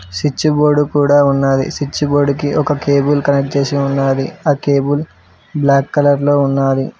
Switch board కూడా ఉన్నాది switch board కి ఒక కేబుల్ కనెక్ట్ చేసి ఉన్నాది ఆ కేబుల్ బ్లాక్ కలర్ లో ఉన్నాది.